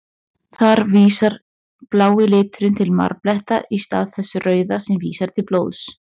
Þar vísar blái liturinn til marbletta, í stað þess rauða sem vísar til blóðs.